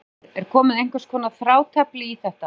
Heimir Már: Er komið einhvers konar þrátefli í þetta?